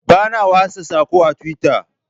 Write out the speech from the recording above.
Bana watsa sako a twitter.